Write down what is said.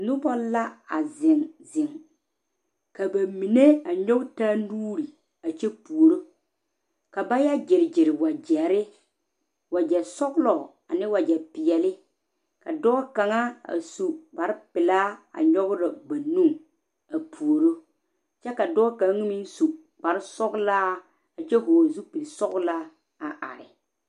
Noba la a zeŋe zeŋe ka ba mine nyɔge taa nuuri gbi a kyɛ puoriŋ ka ba yɛ gyigyi wagyire wagyɛ sõɔloŋ ane wagyɛ peɛle ka dɔɔ kaŋ su kpaare peɛle a are a nyɔge ba nu a puoriŋ kyɛ ka dɔɔ kaŋ meŋ kpaare sóɔla a kyɛ hɔɔ zu peɛle sõɔla are.